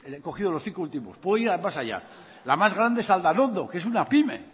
he cogido los cinco últimos puedo ir más allá la más grande es aldanondo que es una pyme